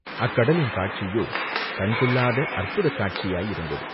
அக்கடலின் காட்சியோ கண்கொள்ளாத அற்புதக் காட்சியாயிருந்தது.